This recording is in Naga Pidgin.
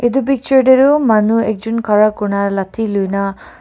etu picture dae aro manu ekjun khara kurina lathi loina--